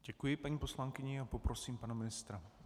Děkuji paní poslankyni a prosím pana ministra.